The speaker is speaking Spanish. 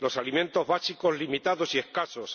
los alimentos básicos, limitados y escasos